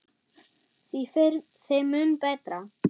Því fyrr, þeim mun betra.